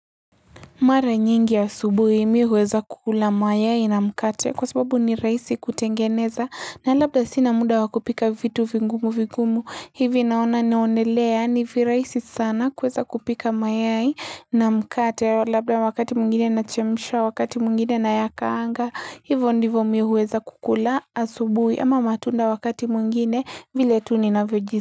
Mara nyingi ya subuhi mi huweza kukula mayai na mkate kwa sababu ni raisi kutengeneza na labda sinamuda wakupika vitu vigumu vigumu hivi naona naonelea ni viraisi sana kweza kupika mayai na mkate labda wakati mwingine na chemsha wakati mwingine na yakaanga hivyo ndivyo mimi huweza kukula asubuhi ama matunda wakati mwingine vile tuni ninavyojisikia.